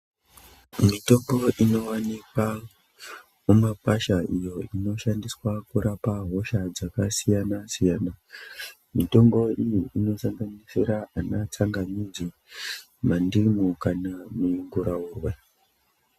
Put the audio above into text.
Mitombo inowanikwa mumakwasha iyo inoshandiswa kurapa hosha dzakasiyana siyana mitombo iyi inosanganisira anatsangamidzi ,mandimu kana munguraurwe .